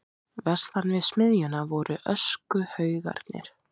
Vestan við smiðjuna voru öskuhaugarnir.